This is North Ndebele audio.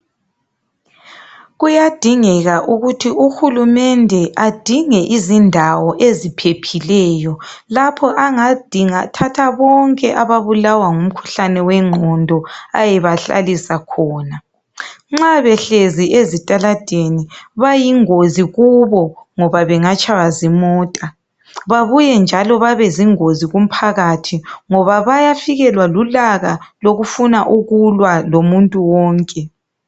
Kuyadingeka ukuthi uHulumende adinge izindawo eziphephileyo lapho angadinga thatha bonke ababulawa ngumkhuhlane wengqondo ayebahlalisa khona. Nxa behlezi ezitaladeni ,bayingozi kubo ngoba bengatshaywa zimota, babuye njalo babezingozi kumphakathi ngoba bayafikelwa lulaka lokufuna ukulwa lomuntu wonke.